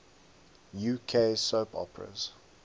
uk soap operas